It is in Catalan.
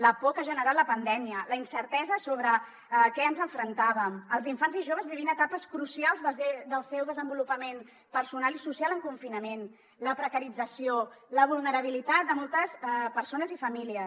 la por que ha generat la pandèmia la incertesa sobre a què ens enfrontàvem els infants i joves vivint etapes crucials del seu desenvolupament personal i social en confinament la precarització la vulnerabilitat de moltes persones i famílies